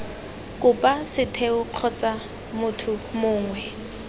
kopa setheo kgotsa motho mongwe